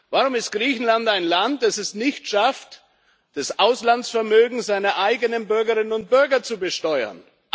Warum ist Griechenland ein Land, das es nicht schafft, das Auslandsvermögen seiner eigenen Bürgerinnen und Bürger zu besteuern?